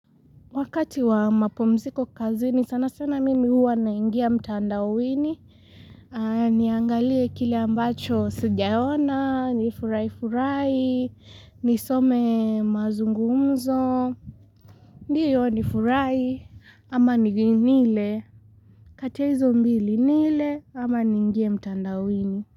Wakati wa mapumziko kazini sana sana mimi huwa naingia mtandaoni Niangalie kile ambacho sijaona nifurahi furahi nisome mazungumzo ndiyo nifurahi ama nile kati ya hizo mbili nile ama niingie mtandaoni.